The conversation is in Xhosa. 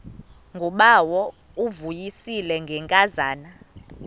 ngubawo uvuyisile ngenkazana